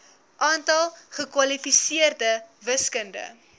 aantal gekwalifiseerde wiskunde